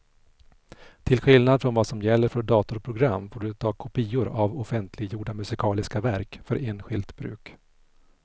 Till skillnad från vad som gäller för datorprogram får du ta kopior av offentliggjorda musikaliska verk för enskilt bruk.